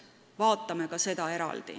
Vaatame ka seda.